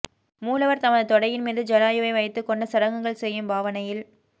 மூலவர் தமது தொடையின் மீது ஜடாயுவை வைத்துக்கொண்டு சடங்குகள் செய்யும் பாவனையில்